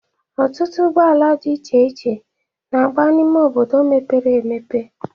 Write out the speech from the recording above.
Ọtụtụ ụgbọala dị iche n'agba n'ime obodo mepere emepe